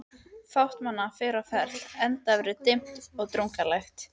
Fátt manna var á ferli, enda veður dimmt og drungalegt.